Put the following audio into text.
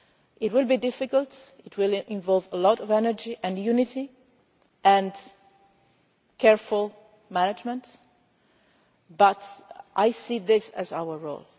It will be difficult, it will involve a lot of energy and unity and careful management, but I see this as our role.